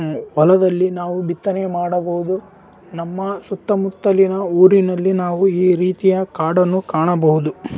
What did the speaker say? ‌ ಉಹ್ ಹೊಲದಲ್ಲಿ ನಾವು ಬಿತ್ತನೆ ಮಾಡಬಹುದು ನಮ್ಮ ಸುತ್ತಮುತ್ತಲಿನ ಊರಿನಲ್ಲಿ ನಾವು ಈ ರೀತಿಯ ಕಾಡನ್ನು ಕಾಣಬಹುದು .